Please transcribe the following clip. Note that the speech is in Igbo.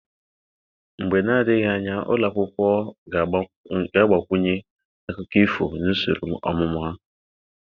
Mgbe na-adịghị anya, ụlọ akwụkwọ ga-agbakwunye akụkọ ifo na usoro ọmụmụ ha.